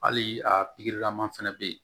Hali a lama fɛnɛ bɛ yen